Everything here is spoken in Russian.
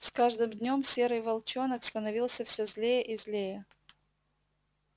с каждым днём серый волчонок становился все злее и злее